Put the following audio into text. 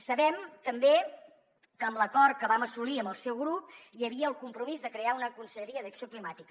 sabem també que amb l’acord que vam assolir amb el seu grup hi havia el compromís de crear una conselleria d’acció climàtica